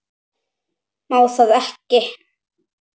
Má það ekki?